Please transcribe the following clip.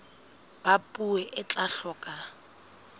ba puo e tla hloka